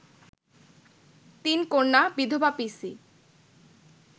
তিন কন্যা, বিধবা পিসি